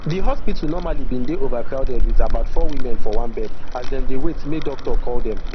di hospital normally bin dey overcrowded wit about four women for one bed as dem dey wait make doctor call dem